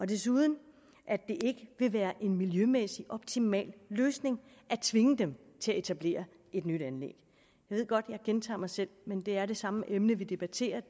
desuden ikke vil være en miljømæssig optimal løsning at tvinge dem til at etablere et nyt anlæg jeg ved godt jeg gentager mig selv men det er det samme emne vi debatterer